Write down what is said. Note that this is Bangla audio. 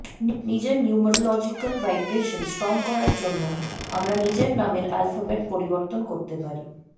নিজের নিউমেরোলজিক্যাল ভাইব্রেশন স্ট্রং করার জন্য আমরা নিজের নামের আলফাবেট পরিবর্তন করতে পারি